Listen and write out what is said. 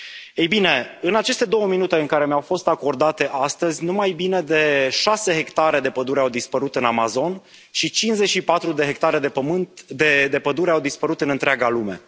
Ei bine, în aceste două minute care mi au fost acordate astăzi, nu mai puțin de șase hectare de pădure au dispărut în Amazon și 54 de hectare de pădure au dispărut în întreaga lume.